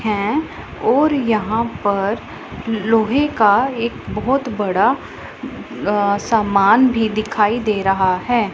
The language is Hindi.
हैं और यहां पर लोहे का एक बहोत बड़ा अ सामान भी दिखाई दे रहा हैं।